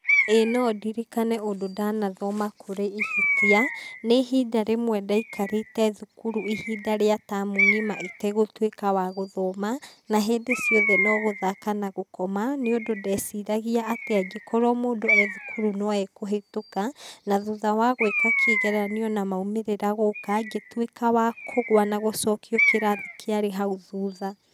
ĩ nondirikane ũndũ ndanathoma kũrĩ ihĩtia, nĩ ihinda rĩmwe ndaikarĩte thukuru, ihinda rĩa tamu ng'ima itegũtũĩka wa gũthoma na hĩndĩ ciothe nogũthaka nagũkoma nĩũndũ ndeciragia atĩ angĩkorwo mũndũ ethukuru no ekũhĩtũka na thũtha wa gwĩka kĩgeranio na maũmĩrĩra gũka ngĩtuĩka wa kũgũa na gũcokio kĩrathi kĩarĩ haũ thutha.